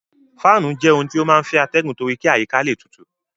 Fáànù jẹ́ ohun tí ó máa ń fẹ́ atẹgun torí kí àyíká le tutù.